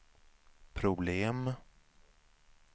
problem